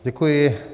Děkuji.